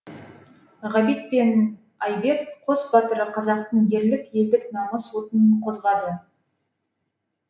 ғабит пен айбек қос батыры қазақтың ерлік елдік намыс отын қозғады